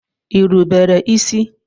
Ị rubere isi?